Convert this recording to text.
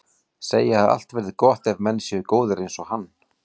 Segja að allt verði gott ef menn séu góðir einsog hann.